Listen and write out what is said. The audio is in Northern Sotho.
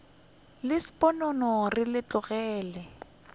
le sponono re le tlogele